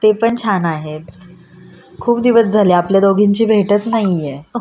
ते पण छान आहे. खूप दिवस झाले आपल्या दोघींची भेटच नाहीए